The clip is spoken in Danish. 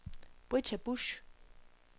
Britta Busch